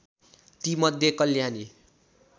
ती मध्ये कल्याणी